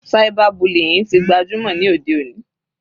Cyber bullying tí gbajúmọ̀ ní òde òní.